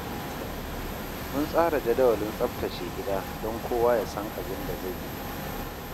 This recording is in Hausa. Mun tsara jadawalin tsaftace gida don kowa ya san abin da zai yi.